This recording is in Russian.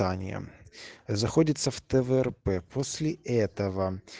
ание заходится в тврп после этого